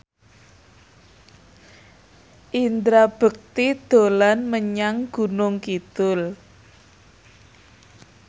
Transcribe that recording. Indra Bekti dolan menyang Gunung Kidul